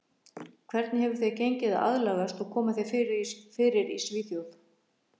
Hvernig hefur þér gengið að aðlagast og koma þér fyrir í Svíþjóð?